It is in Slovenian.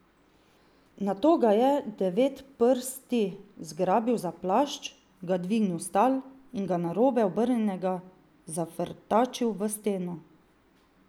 Nato ga je Devetprsti zgrabil za plašč, ga dvignil s tal in ga narobe obrnjenega zafrtačil v steno.